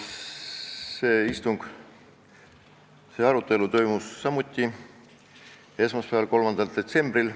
Selle eelnõu arutelu toimus samuti esmaspäeval, 3. detsembril.